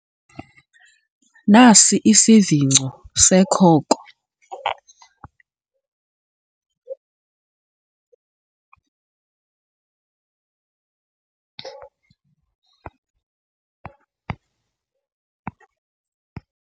Nasi isivingco sekhoko.